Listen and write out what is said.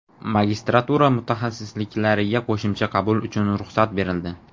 Magistratura mutaxassisliklariga qo‘shimcha qabul uchun ruxsat berildi.